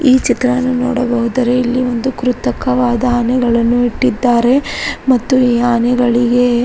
ಈ ಚಿತ್ರವನ್ನು ನೋಡಹೋದರೆ ಇಲ್ಲಿ ಒಂದು ಕೃತಕವಾದ ಆನೆಗಳನ್ನು ಇಟ್ಟಿದ್ದಾರೆ ಮತ್ತು ಈ ಆನೆಗಳಿಗೆ --